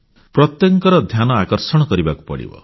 ପ୍ରତ୍ୟେକଙ୍କ ଧ୍ୟାନ ଆକର୍ଷିତ କରିବାକୁ ପଡ଼ିବ